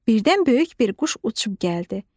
Birdən böyük bir quş uçub gəldi.